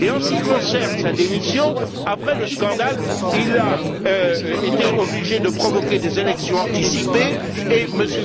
En ce qui concerne sa démission, après le scandale, il a été obligé de provoquer des élections anticipées et M.